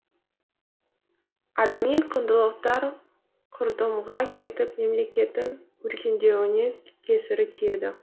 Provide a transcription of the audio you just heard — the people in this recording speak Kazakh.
адами құндылықтар құрдымға кетіп мемлекеттің өркендеуіне кесірі тиеді